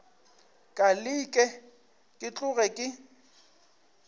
ka leke ke tloge ke